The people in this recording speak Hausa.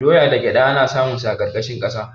Doya da gyada ana samun su a ƙarƙashin ƙasa.